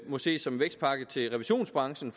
må ses som en vækstpakke til revisionsbranchen